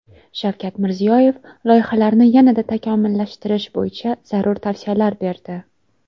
Shavkat Mirziyoyev loyihalarni yanada takomillashtirish bo‘yicha zarur tavsiyalar berdi.